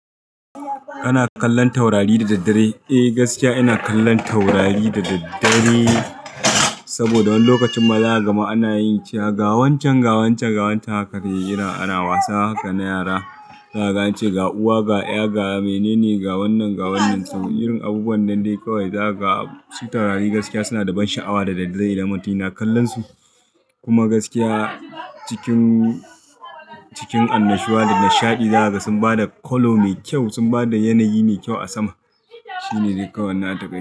Kana kallon taurari da daddare? Eh, gaskiya ina kallon taurari da daddare saboda wani lokacin mala'aka ma ana yin cewa ga wancen, ga wancen, ga wancan haka dai yana ana wasa haka na yara. Za a ce ga uwa, ga ƴa, ga mene ne, ga wannan, ga wannan. Irin abubuwan nan dai kawai. Za ga shi taurari gaskiya suna da ban sha'awa da daddare idan mutum yana kallon su. Kuma gaskiya cikin, cikin annashuwa da nishaɗi. Za ka ga sun ba da kallo mai kyau, sun ba da yanayi mai kyau a sama. Shi ne dai kawai na ta gani.